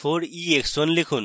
4ex1 লিখুন